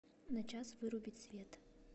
на час вырубить свет